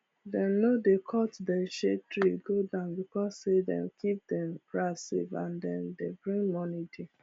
dem no dey cut dem shade tree go down because say dem keep dem grass safe and dem dey bring morning dew